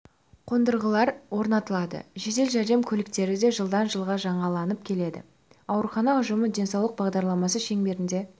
қондырғылар орнатылды жедел жәрдем көліктері де жылдан жылға жаңаланып келеді аурухана ұжымы денсаулық бағдарламасы шеңберінде